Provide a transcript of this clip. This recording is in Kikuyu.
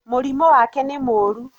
Mũrimũ wake nĩmũru.